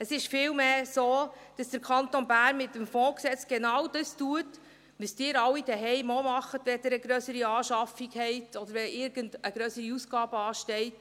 Es ist vielmehr so, dass der Kanton Bern mit dem FFsiG genau das tut, was Sie alle zu Hause auch tun, wenn Sie eine grössere Anschaffung haben oder wenn irgendeine grössere Ausgabe ansteht: